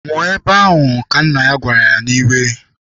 Nwụọ ebe ahụ! Ka nna ya gwara ya n'iwe.